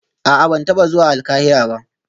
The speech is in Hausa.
A'a ban taba zuwa Alkahira ba